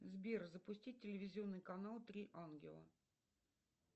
сбер запусти телевизионный канал три ангела